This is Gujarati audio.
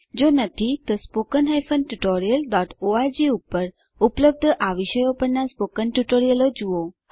જો નથી તો spoken tutorialઓર્ગ પર ઉપલબ્ધ આ વિષયો પરનાં સ્પોકન ટ્યુટોરીયલ જુઓ